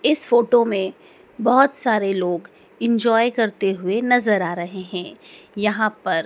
इस फोटो में बहुत सारे लोग एंजॉय करते हुए नजर आ रहे है यहां पर।